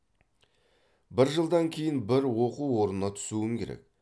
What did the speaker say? бір жылдан кейін бір оқу орнына түсуім керек